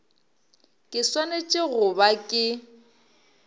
ke swanetše go ba ke